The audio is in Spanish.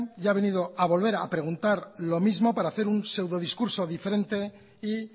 y ha venido a volver a preguntar los mismo para hacer un pseudodiscurso diferente y